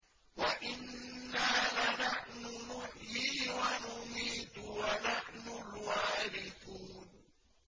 وَإِنَّا لَنَحْنُ نُحْيِي وَنُمِيتُ وَنَحْنُ الْوَارِثُونَ